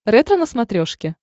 ретро на смотрешке